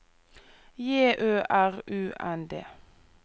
J Ø R U N D